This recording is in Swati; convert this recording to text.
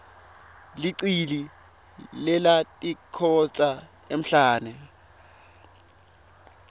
licili lelatikhotsa emhlane